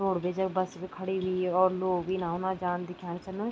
Roadways bus भी खड़ीं हुई और लोग भी इना-उना जान्द दिख्याण छिन।